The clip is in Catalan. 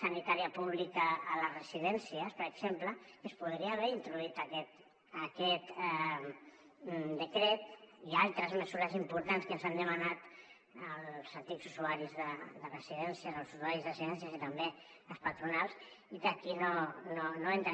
sanitària pública a les residències per exemple en què es podria haver introduït aquest decret i altres mesures importants que ens han demanat els antics usuaris de residències els usuaris de residències i també les patronals i que aquí no hi entren